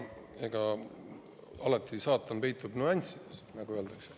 Aga saatan peitub alati nüanssides, nagu öeldakse.